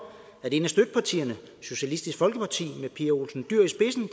at et af støttepartierne socialistisk folkeparti med pia olsen dyhr i spidsen